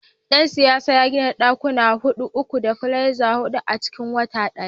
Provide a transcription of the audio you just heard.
dan siyasar ya gina dakuna hudu uku, duplexes hudu a cikin wata daya.